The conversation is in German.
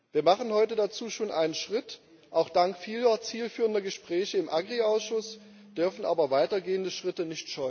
Wir machen heute dazu schon einen Schritt auch dank vieler zielführender Gespräche im Agrarausschuss dürfen aber weitergehende Schritte